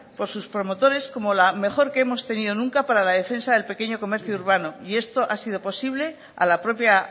por sus promotores como la mejor que hemos tenido nunca para la defensa del pequeño comercio urbano y esto ha sido posible a la propia